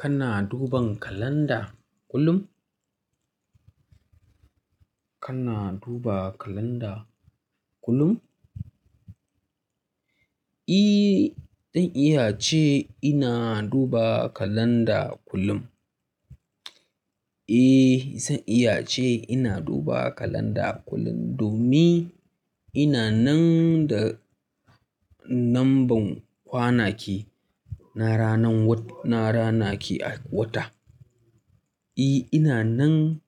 Kana duban kalanda kullum? Kana duba kalanda kullum? E, dan iya ce ina duba kalanda kullum. E, zan iya ce ina duba kalanda kullum domin ina nan da namban kwanaki na rana ki a wata. E, ina nan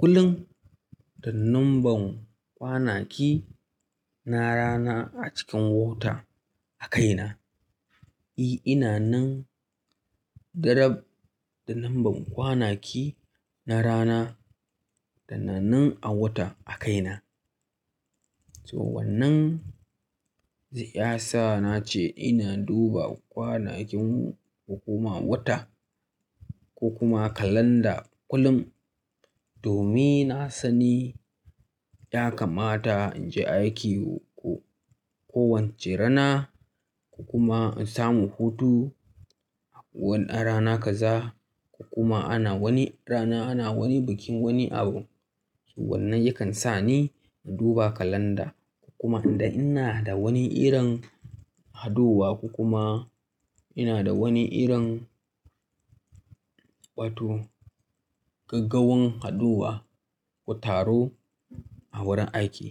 kullum da namban kwanaki na rana a cikin wata a kaina. E, ina nan darab, da namban kwanaki na rana da na wata a kaina. To wannan yasa nace ina duba kwanakin hukuma wata ko kuma kalanda kullum domin na sani, ya kamata in je aiki kowacce rana ko kuma in samu hutu a wani rana kaza, ko kuma ana wani rana ana wani bikin wani abu. Wannan yakan sa ni in duba kalanda ko kuma in ga ina da wani irin haɗuwa ko kuma ina da wani irin batun gaggawan haɗuwa ko taro a wurin aiki.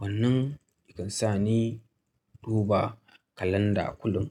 Wannan yakan sa ni in duba kalanda kullum.